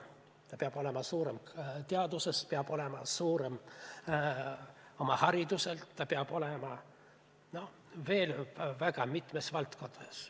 Ta peab olema suurem teaduses, peab olema suurem oma hariduselt, ta peab olema veel väga mitmes valdkonnas edukas.